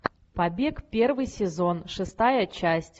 побег первый сезон шестая часть